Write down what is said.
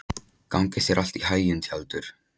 Gangi þér allt í haginn, Tjaldur.